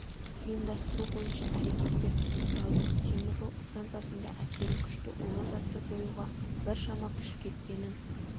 ұйымдастыру бойынша әрекеттер пысықталды темір жол станциясында әсері күшті улы затты жоюға біршама күш кеткенін